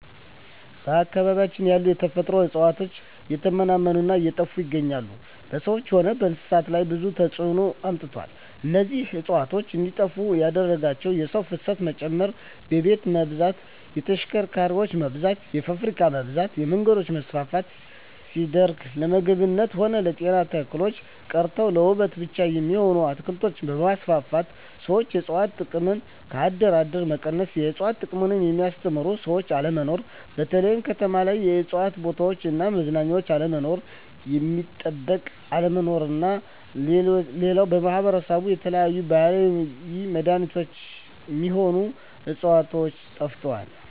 በአካባቢያችን ያሉ የተፈጥሮ እጽዋት እየተመናመኑ እና እየጠፋ ይገኛሉ በሰዎች ሆነ በእንስሳት ላይ ብዙ ተጽዕኖ አምጥተዋል እነዚህ እጽዋት እንዴጠፋ ያደረጋቸው የሰው ፋሰት መጨመር የቤት መብዛት የተሽከርካሪ መብዛት የፋብሪካ መብዛት የመንገዶች መስፍን ሲደረግ ለምግብነት ሆነ ለጤና ተክሎች ቀርተው ለዉበት ብቻ የሚሆኑ አትክልቶች መስፋፋት ሠዎች የእጽዋት ጥቅም ከአደር አደር መቀነስ የእጽዋት ጥቅምን የሚያስተምሩ ሰዎች አለመኖር በተለይ ከተማ ላይ የእጽዋት ቦታዎች እና መዝናኛ አለመኖር እጽዋት ሚጠበቅ አለመኖር ናቸው ሌላው በማህበረሰባችን የተለያዩ የባህላዊ መዳኔቾች ሚሆኑ ህጽዋቾች ጠፍተዋል